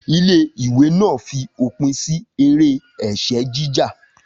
Ilé ìwé náà fi òpin sí eré ẹ̀sẹ́ jíjà